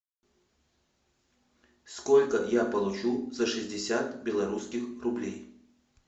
сколько я получу за шестьдесят белорусских рублей